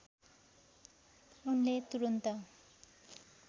उनले तुरुन्त